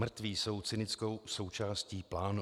Mrtví jsou cynickou součástí plánu.